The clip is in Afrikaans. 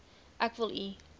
ek wil u